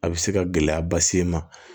A bɛ se ka gɛlɛya bas'e ma